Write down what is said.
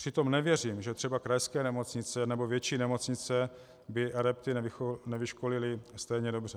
Přitom nevěřím, že třeba krajské nemocnice nebo větší nemocnice by adepty nevyškolily stejně dobře.